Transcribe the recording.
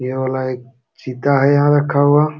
ये वाला एक चीता है यहाँ रखा हुआ।